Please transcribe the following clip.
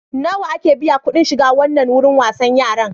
Nawa ake biya kuɗin shiga wannan wurin wasan yaran?